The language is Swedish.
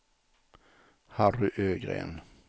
Harry Ögren